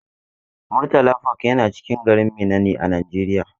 Murtala park yana cikin garin Minna ne a Najeriya.